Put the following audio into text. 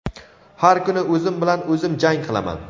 Har kuni o‘zim bilan o‘zim jang qilaman.